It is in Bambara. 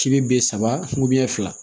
K'i bi saba fila